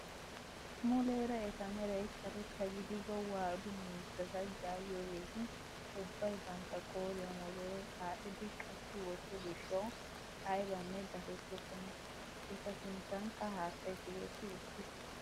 Muleera eta meray karetta gidido waadu miizata yaagiyoogeti ubbay bantta qooriyaan wodoroy aadhdhidi qachchi wotto gishshawu aybanne dapettokona. eta sinttanikka haattay tigetti uttiis.